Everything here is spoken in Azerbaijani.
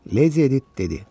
Lady Edit dedi: